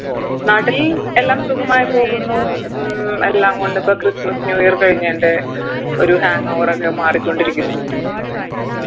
നാട്ടില് എല്ലാം സുഖമായി പോകുന്നു ഉം എല്ലാം കൊണ്ടും ഇപ്പോ christmas new year കഴിഞ്ഞേൻറെ ഒരു hangover ഒക്കെ മാറിക്കൊണ്ടിരിക്കുന്നു